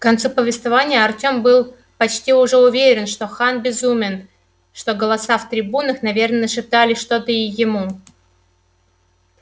к концу повествования артём был почти уже уверен что хан безумен что голоса в трибунах наверное нашептали что-то и ему